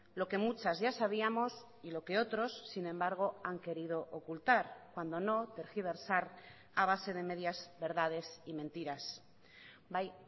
lo que muchas ya sabíamos y lo que otros sin embargo han querido ocultar cuando no tergiversar a base de medias verdades y mentiras bai